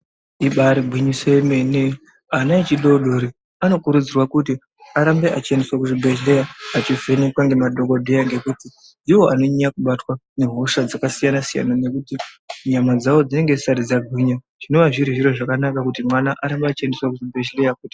Ibari gwinyiso remene ana echidodori anokudzirwa kuti arambe echiendeswa kuchibhedhleya echivhenekwa ngemadhokodheya ngekuti ndiwo anonyanya kubatwa nehosha dzakasiyana siyana ngekuti nyama dzawo dzinenge dzisati dzangwinya zvinonga zviri zviro zvakanaka kuti mwana arambe echiendeswa kuchibhedhleya.